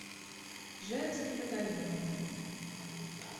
женский батальон